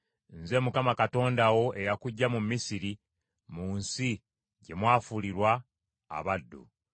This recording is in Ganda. “Nze Mukama Katonda wo, eyakuggya mu Misiri, mu nsi gye mwafuulibwa abaddu.